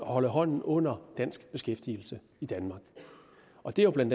holde hånden under dansk beskæftigelse i danmark og det er jo bla